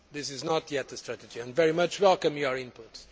it is not yet a strategy, and I very much welcome your input.